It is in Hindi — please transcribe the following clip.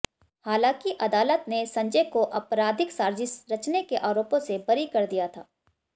हालांकि अदालत ने संजय को आपराधिक साजिश रचने के आरोपों से बरी कर दिया था